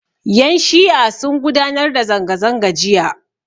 Yan' shi'a sun gudanar da zanga-zanga jiya.